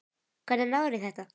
Hvernig náðirðu í þetta?